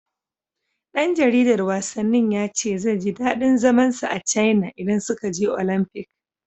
Ɗan jaridar wasannin ya ce zai ji daɗin zaman sa a Caina idan suka je Olamfik.